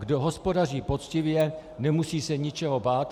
Kdo hospodaří poctivě, nemusí se ničeho bát.